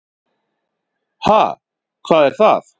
Ha, hvað er það.